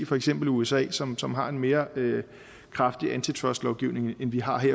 for eksempel usa som som har en mere kraftig antitrustlovgivning end vi har her